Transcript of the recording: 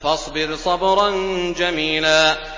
فَاصْبِرْ صَبْرًا جَمِيلًا